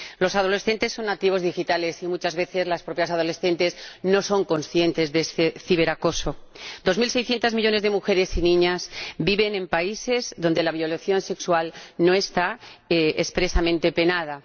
Los adolescentes son nativos digitales y muchas veces las propias adolescentes no son conscientes de este ciberacoso. Dos mil seiscientos millones de mujeres y niñas viven en países donde la violación sexual no está expresamente penada.